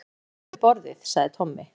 Það eru börn við borðið, sagði Tommi.